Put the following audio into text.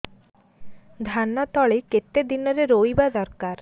ଧାନ ତଳି କେତେ ଦିନରେ ରୋଈବା ଦରକାର